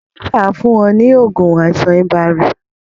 Dókítà á fún ọ ní oògùn fún àìsàn ibà